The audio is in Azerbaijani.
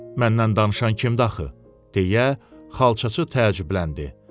Məndən danışan kimdir axı, deyə xalçaçı təəccübləndi.